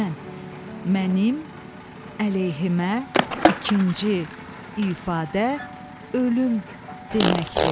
Mən, mənim əleyhimə ikinci ifadə ölüm deməkdir.